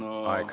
Aeg!